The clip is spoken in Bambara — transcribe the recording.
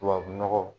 Tubabu nɔgɔ